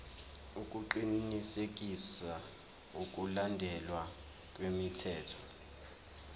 ukuqinisekisa ukulandelwa kwemithetho